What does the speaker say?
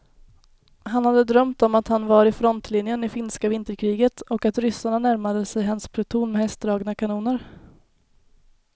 Han hade drömt om att han var i frontlinjen i finska vinterkriget och att ryssarna närmade sig hans pluton med hästdragna kanoner.